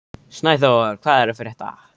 Snæþór, hvað er að frétta?